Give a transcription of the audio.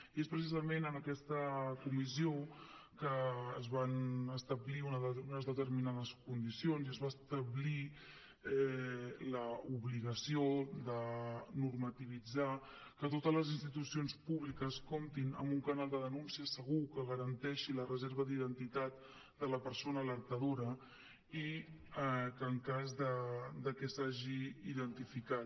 i és precisament en aquesta comissió que es van establir unes determinades condicions i es va establir l’obligació de normativitzar que totes les institucions públiques comptin amb un canal de denúncia segur que garanteixi la reserva d’identitat de la persona alertadora en cas de que s’hagi identificat